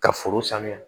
Ka foro sanuya